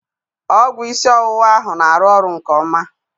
Ọgwụ isi ọwụwa ahụ na-arụ ọrụ nke ọma